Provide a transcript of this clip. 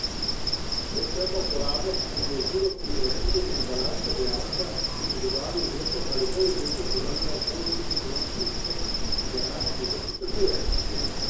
Večkratna uporabnost in zložljivost pri vračilu embalaže sta dejavnika, ki pri dobavi izdelkov ali polizdelkov pomenijo pozitivni ekonomski učinek, ki ga naš kupec pričakuje.